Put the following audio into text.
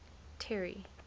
terry